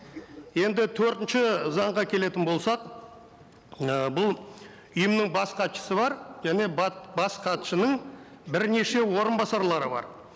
енді төртінші заңға келетін болсақ ііі бұл ұйымның бас хатшысы бар және бас хатшының бірнеше орынбасарлары бар